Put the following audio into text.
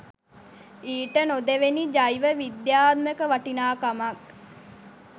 ඊට නොදෙවෙනි ජෛව විද්‍යාත්මක වටිනාකමක්